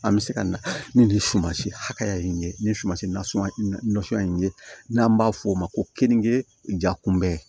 An bɛ se ka na ni nin sumansi hakɛya in ye ni sumansi nasuguya nasɔn in ye n'an b'a f'o ma ko kenige jakunbɛ